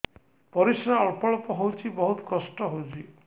ପରିଶ୍ରା ଅଳ୍ପ ଅଳ୍ପ ହଉଚି ବହୁତ କଷ୍ଟ ହଉଚି